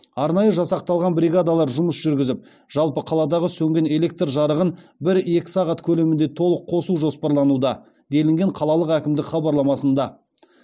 арнайы жасақталған бригадалар жұмыс жүргізіп жалпы қаладағы сөнген электр жарығын бір екі сағат көлемінде толық қосу жоспарлануда делінген қалалық әкімдік хабарламасында